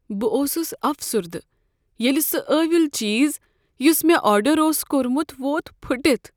بہٕ اوسس افسردہ ییٚلہ سُہ ٲیُل چیز یس مےٚ آرڈر اوس کوٚرمت ووت پھُٹتھ۔